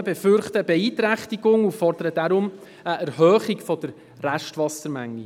Die Umweltschutzorganisationen befürchten eine Beeinträchtigung und fordern deshalb eine Erhöhung der Restwassermenge.